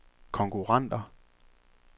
konkurrenter